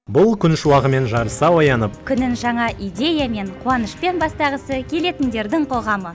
бұл күн шуағымен жарыса оянып күнін жаңа идеямен қуанышпен бастағысы келетіндердің қоғамы